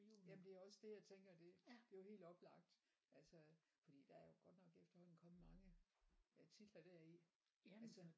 Jamen det er også det jeg tænker det det er jo helt oplagt altså fordi der er jo godt nok efterhånden kommet mange øh titler deri altså